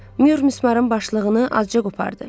Myur mismarın başlığını azca qopardı.